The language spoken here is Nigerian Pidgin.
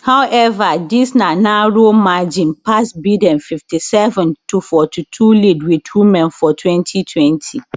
howeva dis na narrow margin pass biden fifty seven to fourty two lead wit women for twenty twenty